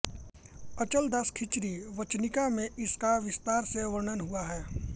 अचलदास खींची री वचनिका में इसका विस्तार से वर्णन हुआ है